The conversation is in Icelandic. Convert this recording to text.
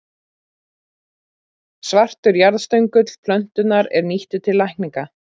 Svartur jarðstöngull plöntunnar er nýttur til lækninga.